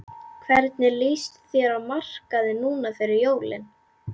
Hvernig lýst þér á markaðinn núna fyrir jólin?